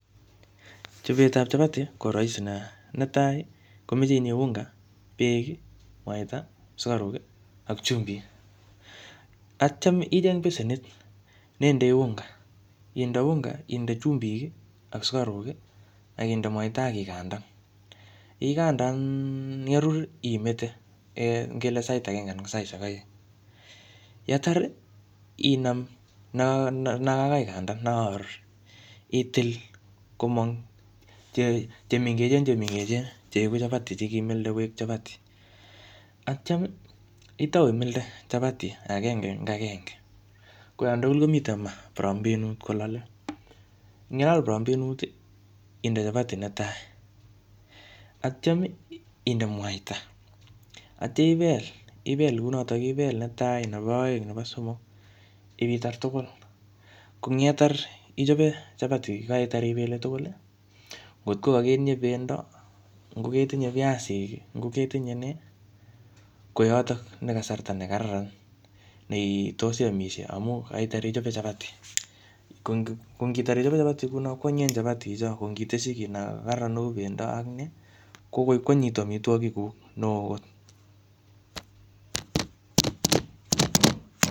Chobet ap chapati, ko rahisi nea. Netai, komeche itinye unga, beek, mwaita, sukaruk, ak chumbik. Atyam icheng besenit ne indoi unga. Inde unga, inde chumbik, ak sukaruk, akinde mwaita akigandan. Igandan, yarur imete, um ngele sait agenge anan ko saishek aeng. Yatar, inam no, no kakaikandan , ne kakarur, itil komong che mengechen che mengechen, che egu chapati che ngimilde koek chapati. Atyam, itau imilde chapati agenge eng agenge. Ko yatugul komitei maa prambenut kolale. Ing yelal prambenut, inde chapati netai. Atyam inde mwaita, atya ibel ibel kounotok, ibel netai, nebo aeng, nebo somok ipitar tugul. Ko eng yetar ichope chapati, yekaitar ipele tugul, kotko kaketinye pendo, ngo ketinye piasik, ngo ketinye nee, ko yotok ne kasarta ne kararan, ne tos iamisie amu kaitar ichope chapati. Ko ngitar ichope chapati, ko anyinyen chapati cho. Ko ngiteshi kiy en kararaan neu pendo ak nee, ko koi kwanyinyitu amitwogik guk, neoo kot